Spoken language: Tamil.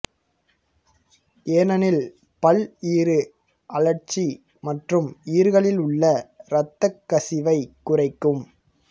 ஏனெனில் பல் ஈறு அழற்சி மற்றும் ஈறுகளில் உள்ள இரத்தக்கசிவைக் குறைக்கும்